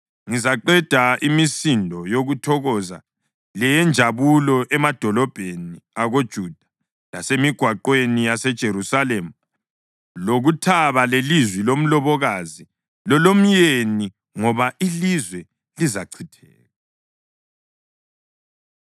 Ngizaqeda imisindo yokuthokoza leyenjabulo emadolobheni akoJuda lasemigwaqweni yaseJerusalema, lokuthaba lelizwi lomlobokazi lelomyeni, ngoba ilizwe lizachitheka.’ ”